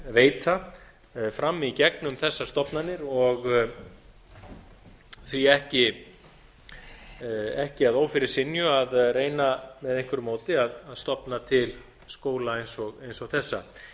veita fram í gegnum þessa stofnanir og á ekki að ófyrirsynju að reyna með einhverju móti að stofna til skóla eins og þessa